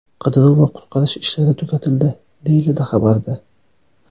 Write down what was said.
Qidiruv va qutqarish ishlari tugatildi”, deyiladi xabarda.